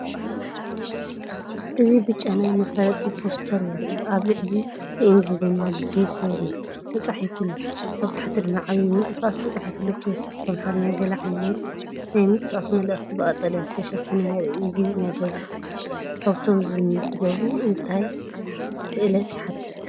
እዚ ብጫ ናይ መፋለጢ ፖስተር የርኢ። ኣብ ላዕሊ ብእንግሊዝኛ “ጃሲሪ” ተጻሒፉ ኣሎ፡ ኣብ ታሕቲ ድማ “ዓቢ ምንቅስቓስ” ተጻሒፉ ኣሎ። ብተወሳኺ ብኣምሓርኛ “ገለ ዓይነት ናይ ምንቅስቓስ መልእኽቲ” ብቀጠልያ ዝተሸፈነ የርኢ። እዚ መደብ እዚ ካብቶም ዝምዝገቡ እንታይ ክእለት ይሓትት?